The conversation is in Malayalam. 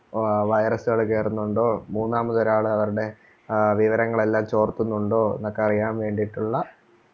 ആഹ് virus കള് കേറുന്നുണ്ടോ? മൂന്നാമതൊരാള് അവരുടേ ആഹ് വിവരങ്ങളെല്ലാം ചോർത്തുന്നുണ്ടോ? എന്നൊക്കെ അറിയാൻ വേണ്ടീട്ടുള്ള